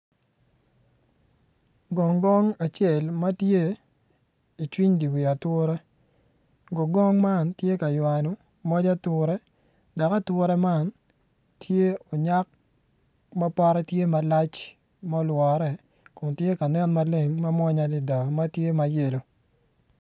Gongong acel ma tye icwiny di wi ature gong gong man ti ka ywano moc ature dok ature man tye onyak mapote tye malac ma olwore kun tye ka nen maleng ma mwonya adida ma tye mayello